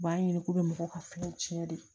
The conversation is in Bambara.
U b'a ɲini k'u bɛ mɔgɔw ka fini tiɲɛ de